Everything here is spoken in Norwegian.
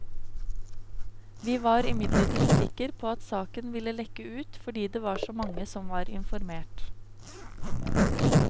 Vi var imidlertid sikker på at saken ville lekke ut fordi det var så mange som var informert.